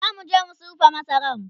zamuje mu sirfa masaran